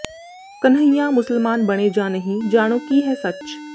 ਕਨ੍ਹਈਆ ਮੁਸਲਮਾਨ ਬਣੇ ਜਾਂ ਨਹੀਂ ਜਾਣੋ ਕੀ ਹੈ ਸੱਚ